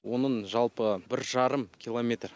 оның жалпы бір жарым километр